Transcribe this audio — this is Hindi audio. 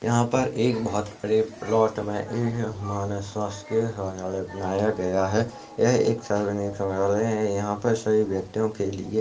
यहाँ पर एक बहुत बड़े प्लॉट मे एक मानसशासकीय शौचालय बनाया गया है यह एक सार्वजनिक शौचालय है यहाँ पर सभी व्यक्तियों के लिय--